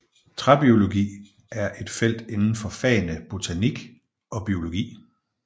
Træbiologi er et felt inden for fagene botanik og biologi